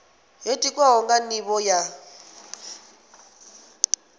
yo tikwaho nga nivho ya